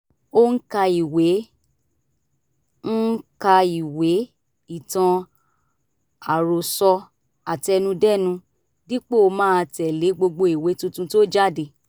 ó ń ka ìwé ń ka ìwé ìtàn àròsọ àtẹnudẹ́nu dípò máa tẹ̀lé gbogbo ìwé tuntun tó jáde